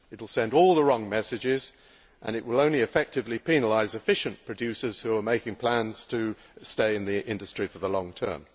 It will send all the wrong messages and it will only effectively penalise efficient producers who are making plans to stay in the industry for the long term.